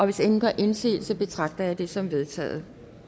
hvis ingen gør indsigelse betragter jeg dette som vedtaget